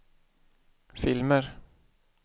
filmer